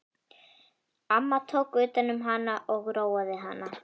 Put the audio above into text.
Amma tók utan um hana og róaði hana.